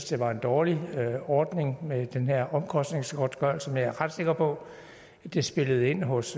det var en dårlig ordning med den her omkostningsgodtgørelse men jeg er ret sikker på at det spillede ind hos